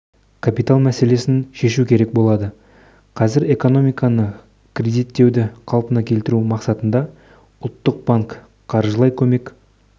капитал мәселесін шешу керек болды қазір экономиканы кредиттеуді қалпына келтіру мақсатында ұлттық банк қаржылай көмек